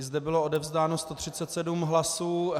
I zde bylo odevzdáno 137 hlasů.